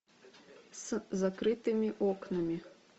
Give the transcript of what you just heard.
с закрытыми окнами